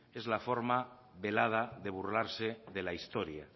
es la forma velada de burlarse de la historia